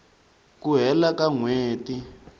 ku hela ka n hweti